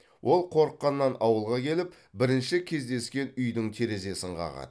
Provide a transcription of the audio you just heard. ол қорыққаннан ауылға келіп бірінші кездескен үйдің терезесін қағады